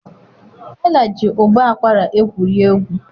Ella ji ụbọ akwara egwuri egwu.